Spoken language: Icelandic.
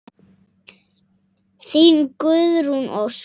Þín, Guðrún Ósk.